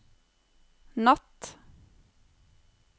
natt